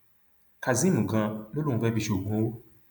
kazeem ganan ló lóun fẹẹ fi ṣoògùn owó